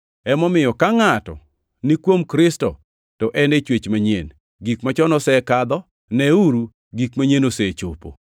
Emomiyo ka ngʼato ni kuom Kristo to en chwech manyien; gik machon osekadho, neuru, gik manyien osechopo!